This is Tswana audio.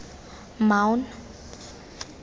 maun